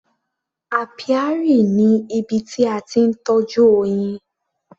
Apiary ni ibi tí a ti ń tọ́jú oyin.